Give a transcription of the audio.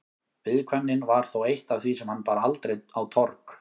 Viðkvæmnin var þó eitt af því sem hann bar aldrei á torg.